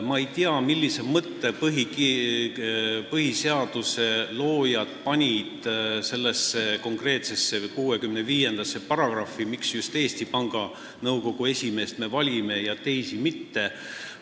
Ma ei tea, millise mõtte on põhiseaduse loojad pannud sellesse konkreetsesse paragrahvi , miks me just Eesti Panga Nõukogu esimeest valime ja teisi mitte.